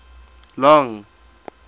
long